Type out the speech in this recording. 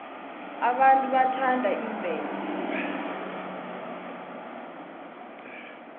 abantu bathanda imvelo